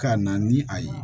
Ka na ni a ye